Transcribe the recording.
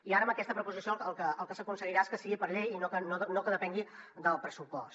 i ara amb aquesta proposició el que s’aconseguirà és que sigui per llei i que no depengui del pressupost